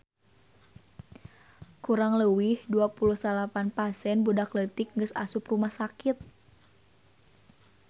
Kurang leuwih 29 pasien budak leutik geus asup rumah sakit